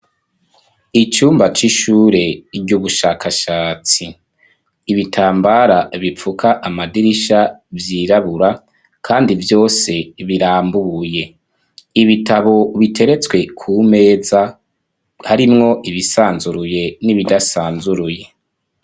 Icumba c'ishure ry'ubushakashatsi. Ibitambara bipfuka amadirisha vyirabura, kandi vyose birambuye. Ibitabo biteretswe ku meza, harimwo ibisanzuruye n'ibidasanzuruye.